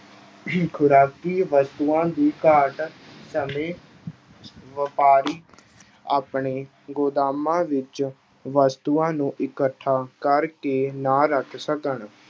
ਖੁਰਾਕੀ ਵਸਤੂਆਂ ਦੀ ਘਾਟ ਸਮੇਂ ਵਾਪਾਰੀ ਆਪਣੇ ਗੁਦਾਮਾਂ ਵਿੱਚ ਵਸਤੂਆਂ ਨੂੰ ਇਕੱਠਾ ਕਰਕੇ ਨਾ ਰੱਖ ਸਕਣ।